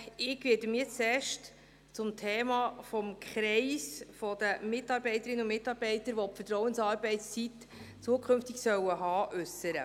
Ich werde mich zuerst zum Thema des Kreises der Mitarbeiterinnen und Mitarbeiter äussern, für die zukünftig Vertrauensarbeitszeit gelten soll.